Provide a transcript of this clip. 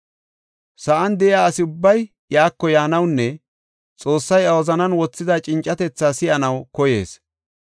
Sa7an de7iya asi ubbay iyako yaanawunne Xoossay iya wozanan wothida cincatethaa si7anaw koyees.